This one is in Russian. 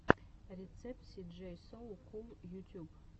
рецепт си джей соу кул ютюб